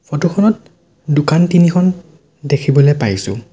Photo খনত দোকান তিনিখন দেখিবলৈ পাইছোঁ।